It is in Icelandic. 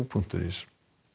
punktur is